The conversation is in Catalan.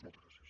moltes gràcies